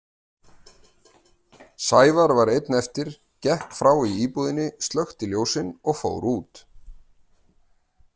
Sævar var einn eftir, gekk frá í íbúðinni, slökkti ljósin og fór út.